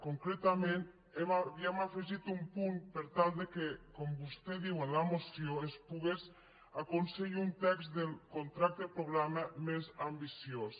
concretament havíem afegit un punt per tal que com vostè diu en la moció es pogués aconseguir un text del contracte programa més ambiciós